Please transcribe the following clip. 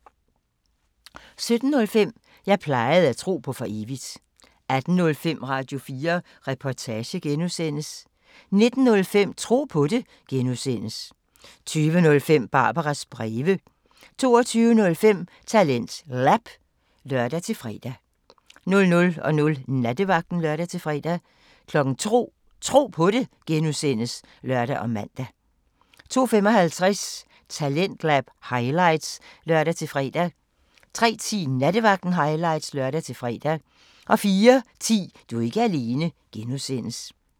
17:05: Jeg plejede at tro på for evigt 18:05: Radio4 Reportage (G) 19:05: Tro på det (G) 20:05: Barbaras breve 22:05: TalentLab (lør-fre) 00:00: Nattevagten (lør-fre) 02:00: Tro på det (G) (lør og man) 02:55: Talentlab highlights (lør-fre) 03:10: Nattevagten highlights (lør-fre) 04:10: Du er ikke alene (G)